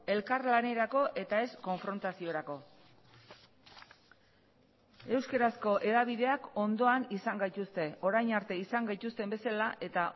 elkarlanerako eta ez konfrontaziorako euskarazko hedabideak ondoan izan gaituzte orain arte izan gaituzten bezala eta